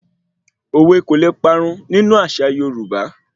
Òwe kò le parun nínú àṣà Yorúbá